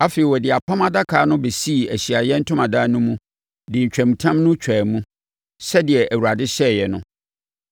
Afei, ɔde Apam Adaka no bɛsii Ahyiaeɛ Ntomadan no mu de ntwamutam no twaa mu, sɛdeɛ Awurade hyɛeɛ no.